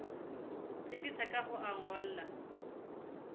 tsebisa ka ho o ngolla